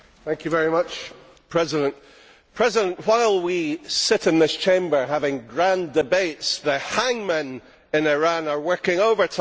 Mr President, while we sit in this Chamber having grand debates, the hangmen in Iran are working overtime.